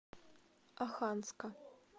оханска